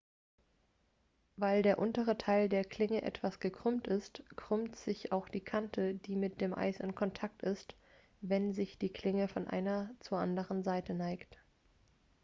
weil der untere teil der klinge etwas gekrümmt ist krümmt sich auch die kante die mit dem eis in kontakt ist wenn sich die klinge von einer seite zur anderen neigt